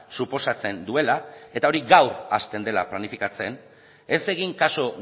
suposatzen duela eta hori gaur hasten dela planifikatzen ez egin kasu